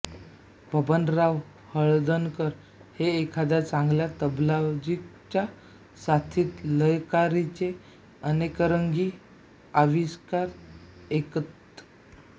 बबनराव हळदणकर हे एखाद्या चांगल्या तबलजीच्या साथीत लयकारीचे अनेकरंगी आविष्कार ऐकवत